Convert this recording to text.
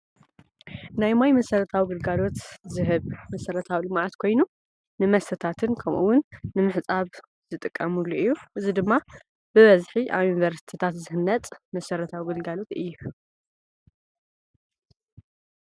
ናይ ማይ መሰረታዊ ግልጋሎት ዝህብ መሰረታዊ ልምዓት ኮይኑ ንመስተታትን ከሙኡ እዉን ንምሕፃብ ዝጥቀምሉ እዩ። እዚ ድማ ብበዝሒ ኣብ ዩኒቨርስቲታት ዝህነፅ መሰረታዊ ግልጋሎት እዩ።